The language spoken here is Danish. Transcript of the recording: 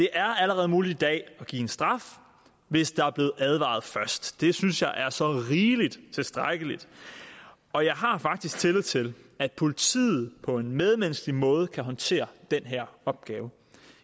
er allerede muligt i dag at give en straf hvis der er blevet advaret først og det synes jeg er så rigeligt tilstrækkeligt og jeg har faktisk tillid til at politiet på en medmenneskelig måde kan håndtere den her opgave